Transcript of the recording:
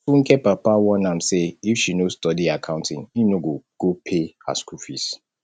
funke papa warn am say if she no study accounting im no go go pay her school fees